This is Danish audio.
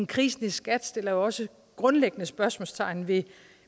krisen i skat jo også grundlæggende spørgsmålstegn ved